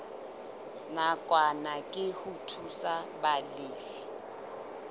nakwana ke ho thusa balefi